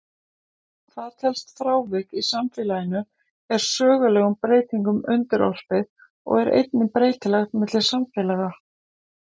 Hvað telst frávik í samfélaginu er sögulegum breytingum undirorpið og er einnig breytilegt milli samfélaga.